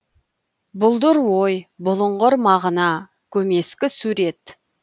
бұлдыр ой бұлыңғыр мағына көмескі сурет